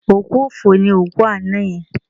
Òkú ọ̀fọ̀ ni òkú àná yẹn